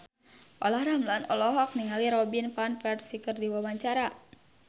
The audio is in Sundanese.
Olla Ramlan olohok ningali Robin Van Persie keur diwawancara